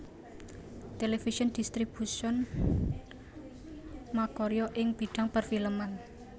Television Distribution makarya ing bidhang perfilman